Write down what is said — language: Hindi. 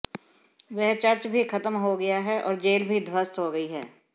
वह चर्च भी खत्म हो गया है और जेल भी ध्वस्त हो गयी है